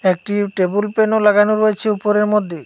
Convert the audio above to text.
একটি টেবুল প্যানও -ও লাগানো রয়েছে উপরের মধ্যে।